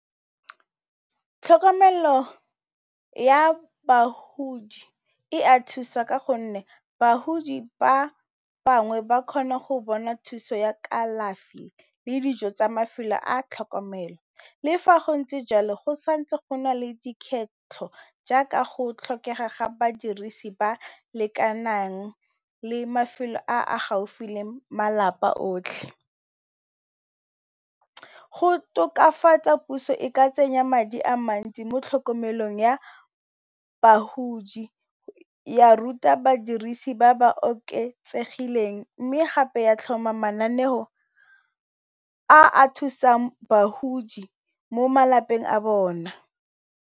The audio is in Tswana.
Tlhokomelo ya bagodi e a thusa ka gonne, bagodi ba bangwe ba kgona go bona thuso ya kalafi le dijo tsa mafelo a tlhokomelo. Le fa go ntse jalo go santse go na le dikgetlo, jaaka go tlhokega ga badirisi ba lekanang le mafelo a a gaufi le malapa otlhe. Go tokafatsa puso e ka tsenya madi a mantsi mo tlhokomelong ya bagodi, ya ruta badirisi ba ba oketsegileng, mme gape ya tlhoma mananeo a a thusang bagodi mo malapeng a bona.